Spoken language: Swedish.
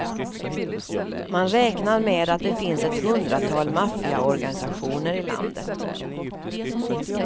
Man räknar med att det finns ett hundratal maffiaorganisationer i landet.